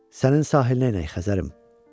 Sənin sahilinə enəy Xəzərim.